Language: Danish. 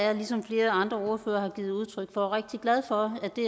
er ligesom flere andre ordførere har givet udtryk for rigtig glad for at det